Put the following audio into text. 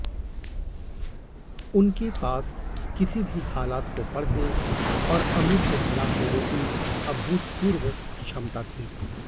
उनके पास किसी भी हालात को पढ़ने और अमूल्य सलाह देने की अभूतपूर्व क्षमता थी